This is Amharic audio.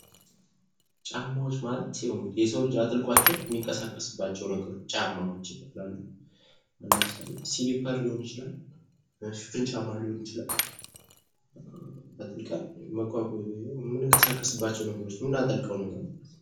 ጫማዎች ማለት የሰው ልጅ አጥልቋቸው ሚንቀሳቀስባቸው ጫማዎች ይባላሉ። አሁን ለምሳሌ ሲኒፐር ሊሆን ይችላል። ሽፍን ጫማ ሊሆን ይችላል። አጥልቅን የምንንቀሳቀስባቸው ነገሮች ምናጠልቀው ነገር